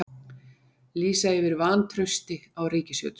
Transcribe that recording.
Lýsa yfir vantrausti á ríkisstjórn